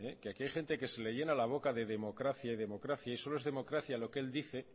que aquí hay gente que se le llena la boca de democracia y democracia y solo es democracia lo que él dice